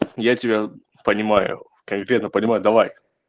я тебя понимаю конкретно понимаю давай